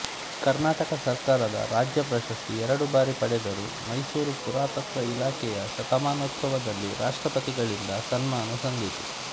ಕರ್ನಾಟಕ ಸರ್ಕಾರದ ರಾಜ್ಯ ಪ್ರಶಸ್ತಿ ಎರಡು ಬಾರಿ ಪಡೆದರು ಮೈಸೂರು ಪುರಾತತ್ವ ಇಲಾಖೆಯ ಶತಮಾನೋತ್ಸವದಲ್ಲಿ ರಾಷ್ಟ್ರಪತಿಗಳಿಂದ ಸನ್ಮಾನ ಸಂದಿತು